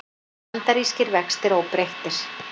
Bandarískir vextir óbreyttir